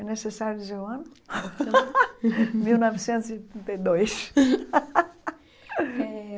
É necessário dizer o ano? mil novecentos e e dois